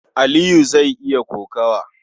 Aliyu zai yi kokawa.